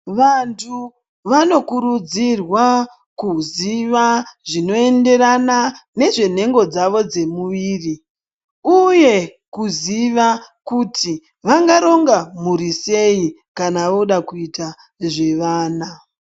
Vantu vanokurudzirwa kuziva zvinoenderana nezvenhengo dzavo dzemuviri uye kuziva kuti vangaronga mhuri sei kana voda kuita zvevana.